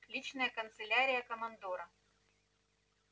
личная канцелярия командора